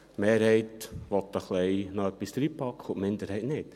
Die Mehrheit will noch ein bisschen mehr hineinpacken und die Minderheit nicht.